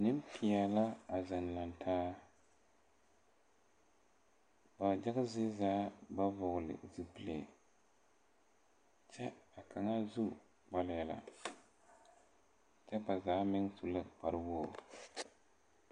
Niŋpeɛl la a ziŋ laŋ taa ba yaga zie zaa ba vɔgle zupile kyɛ a kaŋa su kpalɛɛ la kyɛ ba zaa meŋ su la kpare wogre.